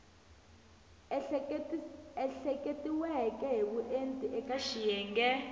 ehleketiweke hi vuenti eka xiyenge